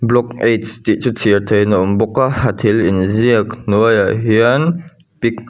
block h tih chu chhiar theih in a awm bawka a thil inziak hnuaiah hian--